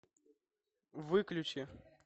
выключи